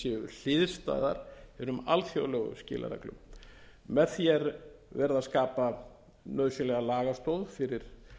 hliðstæðar hinum alþjóðlegu skilareglum með því er verið að skapa nauðsynlega lagastoð fyrir